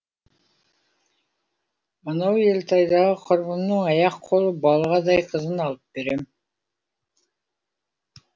анау елтайдағы құрбымның аяқ қолы балғадай қызын алып берем